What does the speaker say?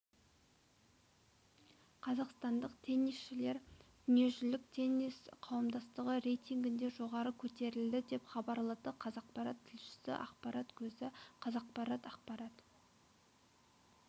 қазақстандық теннисшілер дүниежүзілік теннис қауымдастығы рейтингінде жоғары көтерілді деп хабарлады қазақпарат тілшісі ақпарат көзі қазақпарат ақпарат